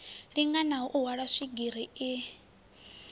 linganaho u hwala swigiri i